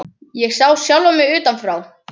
Ég sá sjálfa mig utan frá.